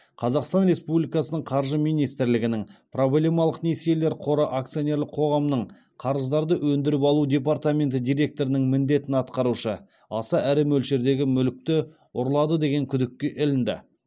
қазақстан республикасының қаржы министрлігінің проблемалық несиелер қоры акционерлік қоғамның қарыздарды өндіріп алу департаменті директорының міндетін атқарушы аса ірі мөлшердегі мүлікті ұрлады деген күдікке ілінді